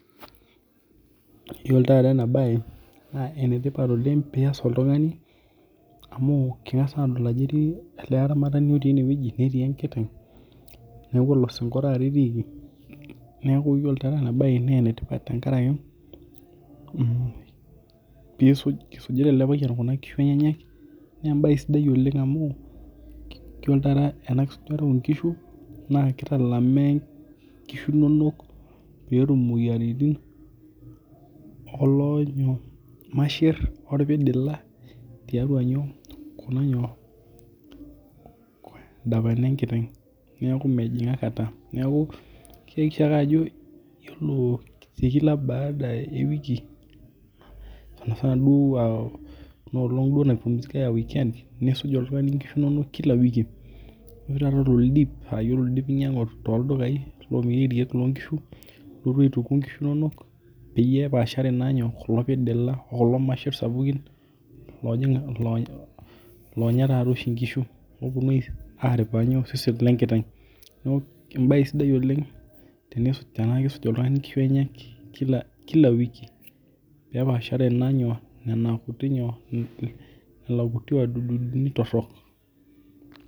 Iyiolo tataa ena bae naa enetipat oleng' pee iyas oltung'ani amu kingas naa adol ajo etii oltung'ani ele aramatni otii eneweji neetii enkiteng' neeku olosinko taata etiki neeku iyiolo taata ena bae naa enetipat tenkaraki pisuj isujita ele payian inkishu enyenak naa ebae sidai oleng' amuu iyiolo taata ena kisujataa oo nkishu naa kitalama nkishu inonok pee etum imoyiaritin oo irmashe oo irpidila tiatua nyoo dapank enkiteng' neeku keisha ake ajo iyiolo te kila baada ee wiki angas duo aa ena olong' nai pumzika ii aa weekend nisuj oltung'ani nkishu inonok kila wiki. Iyioo tata oldip aa ore oldip naa inyangu ttoo ildukai loo nkishu ilotu aituku inkishu inonok peyie epashare naa inyoo kulo pidila. Kulo masher sapukin loonya loonya oshii tataa nkishu nepuonu aripa inyoo? Iseseni lee nkiteng' neekuu enae sidai oleng' tena kisuj oltung'ani inkishu enyenyek kila wiki pee epashare naa inyoo nena kutii nyoo? Nena kuti adudunik torok.